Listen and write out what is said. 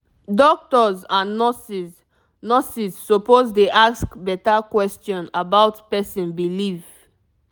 doctors and nurses nurses suppose dey ask better question about person belief